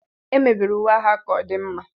Emebere uwe agha ka ọ dị mma